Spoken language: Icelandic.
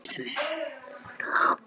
Ég hugsaði til hennar.